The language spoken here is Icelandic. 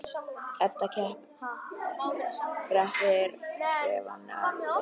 Edda kreppir hnefana af reiði.